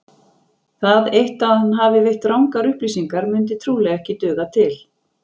Það eitt að hann hafi veitt rangar upplýsingar myndi trúlega ekki duga til.